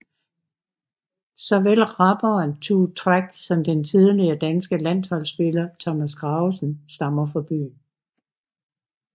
Såvel rapperen Tue Track som den tidligere danske landsholdsspiller Thomas Gravesen stammer fra byen